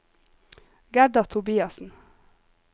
Gerda Tobiassen